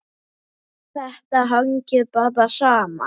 Þetta hangir bara saman.